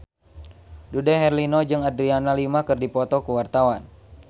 Dude Herlino jeung Adriana Lima keur dipoto ku wartawan